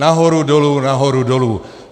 Nahoru dolů, nahoru dolů.